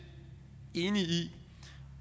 enige i